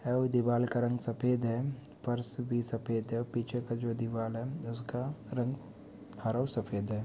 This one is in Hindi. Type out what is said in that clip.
ठी दीवार का रंग सफेद है फर्श सफेद है पीछे का जो दीवार का रंग--